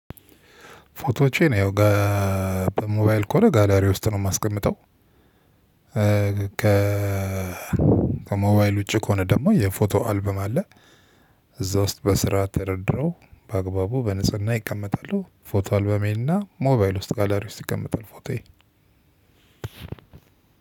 ፎቶዎቼ ያው በሞባይል ከሆነ ጋላሪ ውስጥ ነው የማስቀምጠው። ከሞባይል ውጪ ከሆነ ደግሞ የፎቶ አልብም አለ። እዛ ውስጥ በስርዓት ተደርድረው በአግባቡ በንጽህና ይቀመጣሉ። ፎቶ አልበሜና ሞባይል ውስጥ ጋላሪው ውስጥ ይቀመጣል። ፎቶዬ